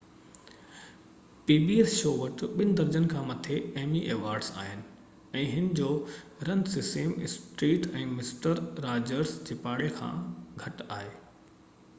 pbs شو وٽ ٻہ درجن کان مٿي ايمي ايوارڊز آهن ۽ هن جو run Sesame Street ۽ mister Rogers جي پاڙي کان گهٽ آهي